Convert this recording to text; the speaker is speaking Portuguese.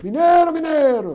Mineiro, mineiro!